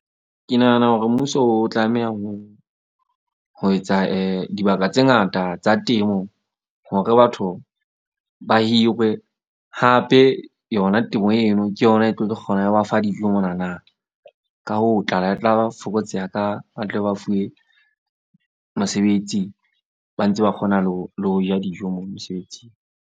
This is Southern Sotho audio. Ke nahana hore mmuso o tlameha ho etsa dibaka tse ngata tsa temo, hore batho ba hirwe. Hape yona temo eo eo ke yona e tlo kgona ho ba fa dijo monana, ka hoo, tlala e tla fokotseha ka ba tle ba fuwe mosebetsi, ba ntse ba kgona le ho ja dijo mo mosebetsing.